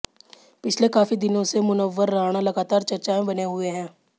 पिछले काफी दिनों से मुनव्वर राणा लगातार चर्चा में बने हुए है